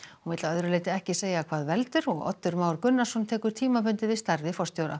hún vill að öðru leyti ekki segja hvað veldur Oddur Már Gunnarsson tekur tímabundið við starfi forstjóra